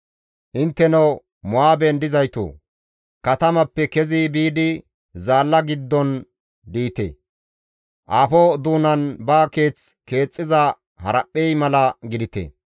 Intteno Mo7aaben dizaytoo! katamappe kezi biidi zaalla giddon diite; aafo doonan ba keeth keexxiza haraphphey mala gidite.